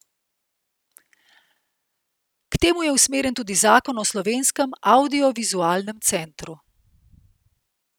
K temu je usmerjen tudi zakon o slovenskem avdiovizualnem centru.